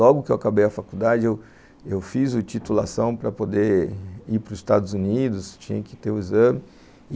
Logo que eu acabei a faculdade, eu fiz titulação para poder ir para os Estados Unidos, tinha que ter o exame.